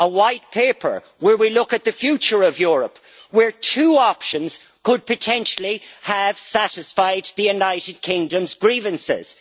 A white paper where we look at the future of Europe, where two options could potentially have satisfied the United Kingdom's grievances.